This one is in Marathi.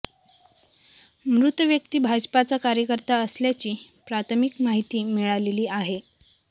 मृत व्यक्ती भाजपाचा कार्यकर्ता असल्याची प्राथमिक माहिती मिळालेली आहे